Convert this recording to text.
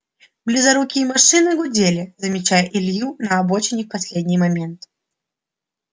близорукие машины гудели замечая илью на обочине в последний момент